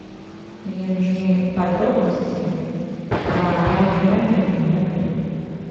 мне нужны подробности про раннее бронирование в отеле